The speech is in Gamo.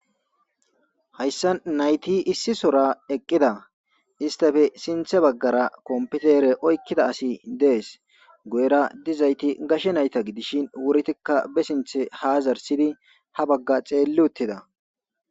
hayssa nayti issi sora eqqida istafe sinthe baggara kompitere oykkida asi dees guyera dizayti gashe nayta gidishin wurtikka be sinthe ha zarsidi ha bagga xeelli uttida